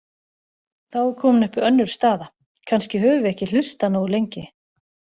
Þá er komin upp önnur staða: Kannski höfum við ekki hlustað nógu lengi.